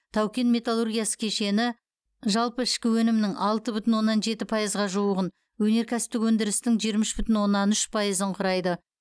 тау кен металлургиясы кешені жалпы ішкі өнімнің алты бүтін оннан жеті пайызға жуығын өнеркәсіптік өндірістің жиырма үш бүтін оннан үш пайызын құрайды